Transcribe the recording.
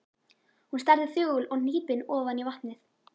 Hún starði þögul og hnípin ofan í vatnið.